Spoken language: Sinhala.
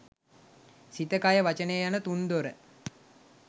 සිත, කය, වචනය යන තුන්දොර